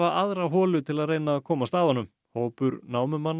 aðra holu til að reyna að komast að honum hópur